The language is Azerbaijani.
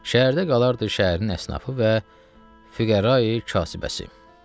Şəhərdə qalardı şəhərin əsnafi və füqərayi kasibəsi.